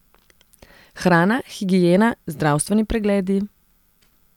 Hrana, higiena, zdravstveni pregledi ...